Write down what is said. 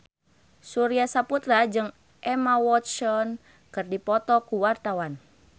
Surya Saputra jeung Emma Watson keur dipoto ku wartawan